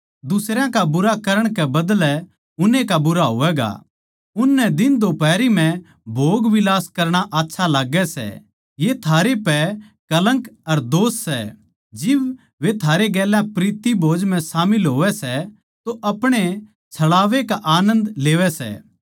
दुसरयां का बुरा करण कै बदलै उन्ने का बुरा होवैगा उननै दिनदोफारी म्ह भोगविलास करणा आच्छा लाग्गै सै ये थारे पै कलंक अर दोष सै जिब वे थारै गेल्या प्रीति भोज म्ह शामिल होवै सै तो अपणे छलावे का आनन्द ले सै